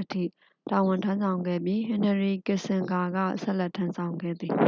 အထိ တာဝန်ထမ်းဆောင်ခဲ့ပြီး ဟင်နရီကစ်ဆင်ဂါက ဆက်လက်ထမ်းဆောင်ခဲ့သည်။